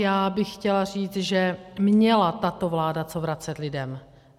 Já bych chtěla říct, že měla tato vláda co vracet lidem.